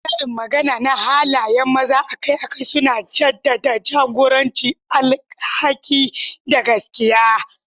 Karin magana na halayen maza akai-akai suna jaddada jagoranci, alhaki, da gaskiya.